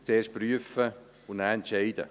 zuerst prüfen und dann entscheiden.